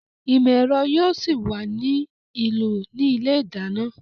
Ìmọ̀ ẹ̀rọ yóò ṣì wà ní ìlò ní ilé ìdáná